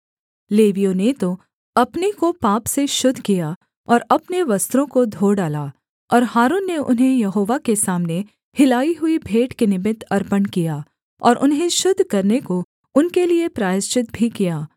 लेवियों ने तो अपने को पाप से शुद्ध किया और अपने वस्त्रों को धो डाला और हारून ने उन्हें यहोवा के सामने हिलाई हुई भेंट के निमित्त अर्पण किया और उन्हें शुद्ध करने को उनके लिये प्रायश्चित भी किया